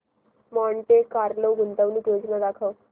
Monte Carlo गुंतवणूक योजना दाखव